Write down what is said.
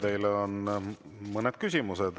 Teile on mõned küsimused.